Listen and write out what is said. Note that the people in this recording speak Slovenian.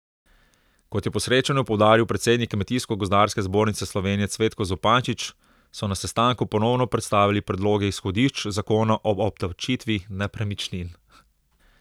Kot je po srečanju poudaril predsednik Kmetijsko gozdarske zbornice Slovenije Cvetko Zupančič, so na sestanku ponovno predstavili predloge izhodišč zakona o obdavčitvi nepremičnin.